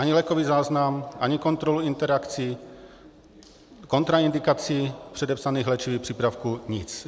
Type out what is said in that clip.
Ani lékový záznam, ani kontrolu interakcí, kontraindikací předepsaných léčivých přípravků, nic.